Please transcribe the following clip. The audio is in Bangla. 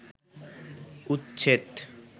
উচ্ছেদ